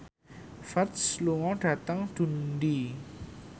Ferdge lunga dhateng Dundee